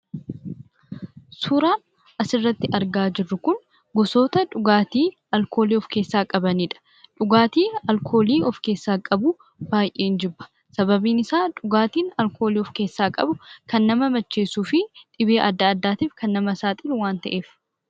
Suuraan as gubbaatti argaa jirru kun gosoota dhugaatii alkoolii of keessaa qabanidha. Dhugaatii alkoolii of keessaa qabu baay'een jibba; sababiin isaa dhugaatiin alkoolii of keessaa qabu kan nama macheessuu fi dhibee adda addaatiif nama saaxiludha.